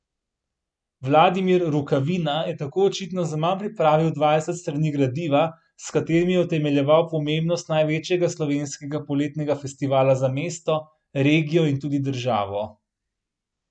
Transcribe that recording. Vladimir Rukavina je tako očitno zaman pripravil dvajset strani gradiva, s katerim je utemeljeval pomembnost največjega slovenskega poletnega festivala za mesto, regijo in tudi državo.